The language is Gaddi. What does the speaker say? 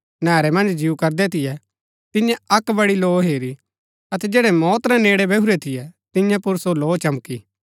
नैहरै मन्ज जिऊ करदै थियै तिन्यै अक्क बड़ी लौ हेरी अतै जैड़ै मौत रै नेड़ै बैहुरै थियै तियां पुर सो लौ चमकी